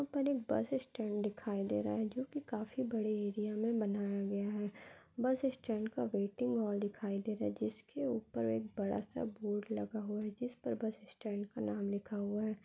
यहाँ पर एक बस स्टैंड दिखाई दे रहा हैं। जो की काफी बड़े एरिया में बनाया गया हैं। बस स्टेंड का वेटिंग हॉल दिखाई दे रहा हैं। जिसके ऊपर एक बड़ा सा बोर्ड लगा हुआ हैं। जिस पर बस स्टेंड का नाम लिखा हुआ हैं।